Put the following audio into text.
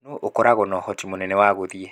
Nũũ ũkoragwo na ũhoti mũnene wa gũthiĩ?